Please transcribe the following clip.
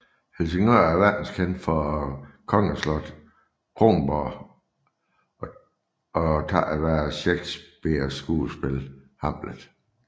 Helsingør er verdenskendt for kongeslottetKronborg og takket være Shakespeares skuespil Hamlet